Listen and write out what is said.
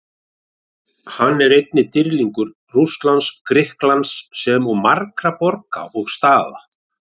Hann er einnig dýrlingur Rússlands og Grikklands, sem og margra borga og staða.